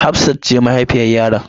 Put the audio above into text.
Hafsat ce mahaifiyar yaron.